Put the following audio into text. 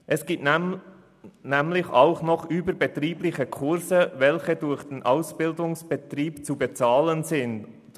Es gibt nämlich auch noch überbetriebliche Kurse, welche durch den Ausbildungsbetrieb zu bezahlen sind.